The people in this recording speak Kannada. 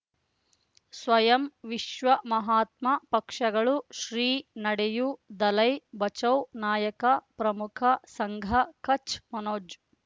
ಸ್ವಯಂ ವಿಶ್ವ ಮಹಾತ್ಮ ಪಕ್ಷಗಳು ಶ್ರೀ ನಡೆಯೂ ದಲೈ ಬಚೌ ನಾಯಕ ಪ್ರಮುಖ ಸಂಘ ಕಚ್ ಮನೋಜ್